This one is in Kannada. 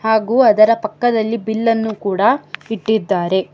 ಹಾಗು ಅದರ ಪಕ್ಕದಲ್ಲಿ ಬಿಲ್ಲನ್ನು ಕೂಡ ಇಟ್ಟಿದ್ದಾರೆ.